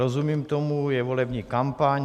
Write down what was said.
Rozumím tomu, je volební kampaň.